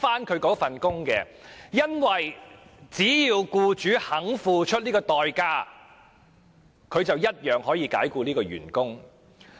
他不能，因為只要僱主肯付出代價，便可以解僱員工。